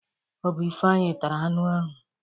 Ọbụ Ifeanyi tara anu ahụ.